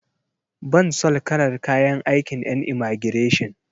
Ban son kalar kayan aikin en imagireshin.